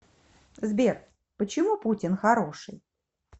сбер почему путин хороший